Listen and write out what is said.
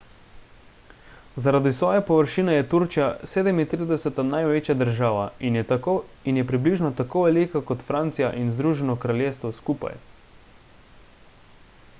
zaradi svoje površine je turčija 37 največja država in je približno tako velika kot francija in združeno kraljestvo skupaj